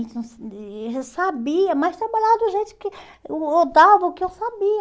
Eu sabia, mas trabalhava do jeito que hum ou dava o que eu sabia.